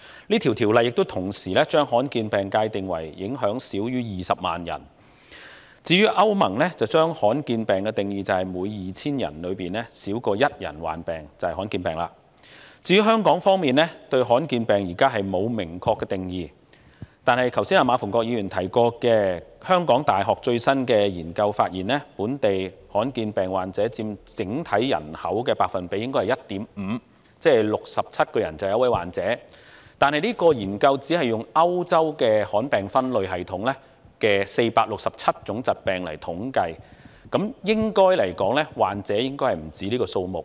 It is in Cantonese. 這項條例亦同時將罕見疾病界定為影響少於20萬人；歐洲聯盟則將罕見疾病定義為每 2,000 人中少於1人患病；至於香港方面，現時對罕見疾病並沒有明確的定義，但是馬逢國議員剛才提及香港大學最新的研究發現，本地罕見疾病患者佔整體人口 1.5%， 即每67人便有1位患者，但由於是次研究只是以歐洲罕見疾病分類系統當中的467種疾病來統計，就此而言，患者人數應該不止此數。